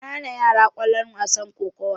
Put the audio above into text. an hana yara kallon wasan kokowa